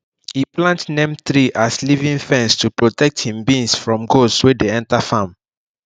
e plant neem tree as living fence to protect him beans from goats wey dey enter farm